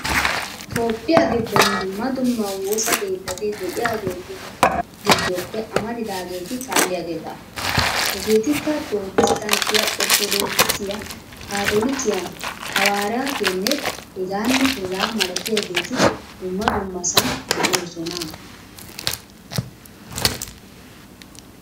Toophphiya giddon dumma dumma woosa keettati de'iyageetu giddoppe amaridaageeti kaalliyageeta. Hegeetikka Piroottesttanttiya, Orttodoogisiya, kaatoolikiya, hawaaraatiyanne hegaanne hegaa malatiyageeti dumma dummasan de'oosona.